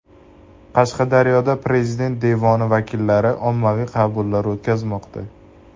Qashqadaryoda Prezident devoni vakillari ommaviy qabullar o‘tkazmoqda.